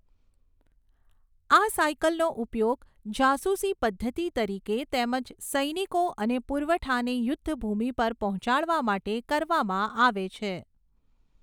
આ સાયકલનો ઉપયોગ જાસુસી પદ્ધતિ તરીકે તેમજ સૈનિકો અને પુરવઠાને યુદ્ધ ભૂમિ પર પહોંચાડવા માટે કરવામાં આવે છે.